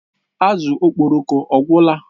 Azụ Okporoko ọ gwụla?